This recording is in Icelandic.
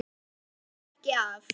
Það þýðir ekki að.